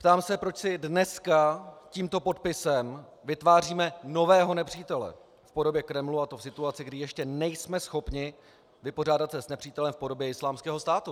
Ptám se, proč si dneska tímto podpisem vytváříme nového nepřítele v podobě Kremlu, a to v situaci, kdy ještě nejsme schopni vypořádat se s nepřítelem v podobě Islámského státu.